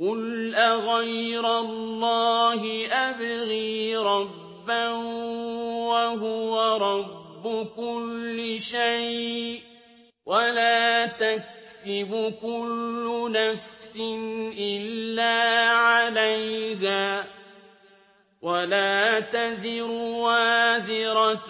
قُلْ أَغَيْرَ اللَّهِ أَبْغِي رَبًّا وَهُوَ رَبُّ كُلِّ شَيْءٍ ۚ وَلَا تَكْسِبُ كُلُّ نَفْسٍ إِلَّا عَلَيْهَا ۚ وَلَا تَزِرُ وَازِرَةٌ